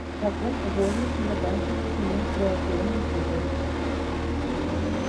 в каком возрасте заканчивается менструационный цикл